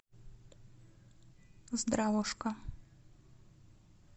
здравушка